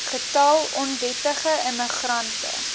getal onwettige immigrante